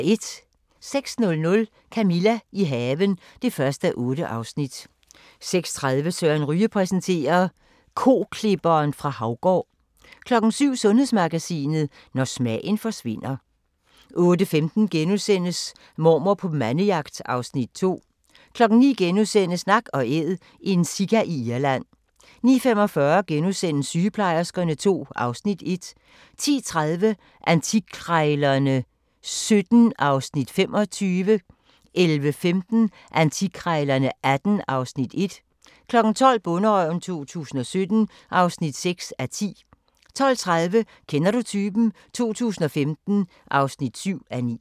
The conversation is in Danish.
06:00: Camilla – i haven (1:8) 06:30: Søren Ryge præsenterer: Koklipperen fra Haugård 07:00: Sundhedsmagasinet: Når smagen forsvinder 08:15: Mormor på mandejagt (Afs. 2)* 09:00: Nak & Æd – en sika i Irland * 09:45: Sygeplejerskerne II (Afs. 1)* 10:30: Antikkrejlerne XVII (Afs. 25) 11:15: Antikkrejlerne XVIII (Afs. 1) 12:00: Bonderøven 2017 (6:10) 12:30: Kender du typen? 2015 (7:9)